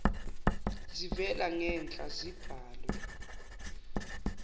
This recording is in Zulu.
zivela ngenhla zibhalwe